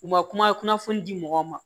U ma kuma kunnafoni di mɔgɔw ma